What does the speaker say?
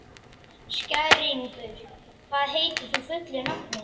Skæringur, hvað heitir þú fullu nafni?